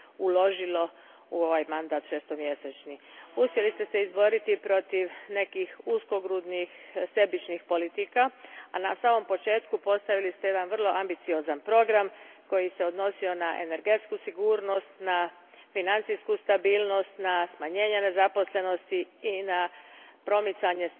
uložilo u ovaj šestomjesečni mandat. Uspjeli ste se izboriti protiv nekih uskogrudnih sebičnih politika, a na samom početku postavili ste jedan vrlo ambiciozan program koji se odnosio na energetsku sigurnost, na financijsku stabilnost, na smanjenje nezaposlenosti i na stalno promicanje